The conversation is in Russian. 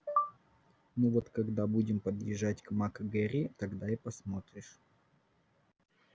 ну вот когда будем подъезжать к мак гэрри тогда и посмотришь